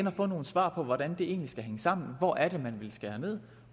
at få nogle svar på hvordan det egentlig skal hænge sammen hvor er det man vil skære ned